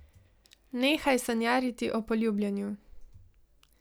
Nehaj sanjariti o poljubljanju.